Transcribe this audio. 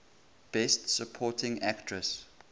best supporting actress